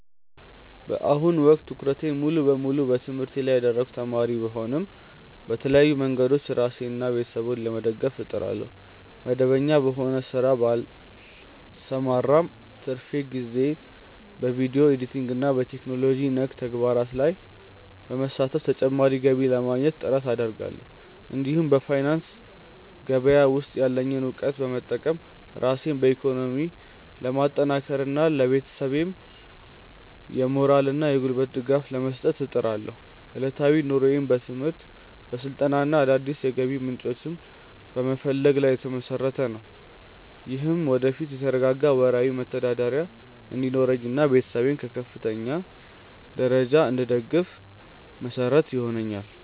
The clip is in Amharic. በአሁኑ ወቅት ትኩረቴን ሙሉ በሙሉ በትምህርቴ ላይ ያደረግኩ ተማሪ ብሆንም፣ በተለያዩ መንገዶች ራሴንና ቤተሰቤን ለመደገፍ እጥራለሁ። መደበኛ በሆነ ሥራ ባልሰማራም፣ በትርፍ ጊዜዬ በቪዲዮ ኤዲቲንግና በቴክኖሎጂ ነክ ተግባራት ላይ በመሳተፍ ተጨማሪ ገቢ ለማግኘት ጥረት አደርጋለሁ። እንዲሁም በፋይናንስ ገበያ ውስጥ ያለኝን እውቀት በመጠቀም ራሴን በኢኮኖሚ ለማጠናከርና ለቤተሰቤም የሞራልና የጉልበት ድጋፍ ለመስጠት እጥራለሁ። ዕለታዊ ኑሮዬም በትምህርት፣ በስልጠናና አዳዲስ የገቢ ምንጮችን በመፈለግ ላይ የተመሰረተ ነው። ይህም ወደፊት የተረጋጋ ወርሃዊ መተዳደሪያ እንዲኖረኝና ቤተሰቤን በከፍተኛ ደረጃ እንድደግፍ መሰረት ይሆነኛል።